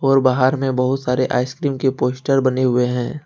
और बाहर में बहुत सारे आइसक्रीम के पोस्टर बने हुए हैं।